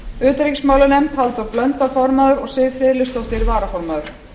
utanríkismálanefnd halldór blöndal formaður og siv friðleifsdóttir varaformaður